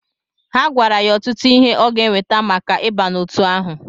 Ha gwara ya ọtụtụ ihe ọ gá eweta maka ịba n'otu ahụ.